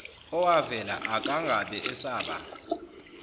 owavela akangabe esaba